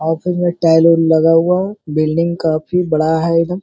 Office में tile oil लगा हुआ हो। बिल्डिंग काफी बड़ा है --